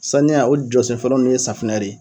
Saniya o jɔsenfɔlɔ nu ye safinɛ de ye